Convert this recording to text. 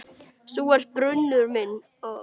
Þú ert brunnur minn.